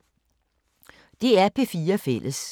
DR P4 Fælles